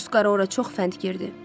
Tusqarı ora çox fənd girdi.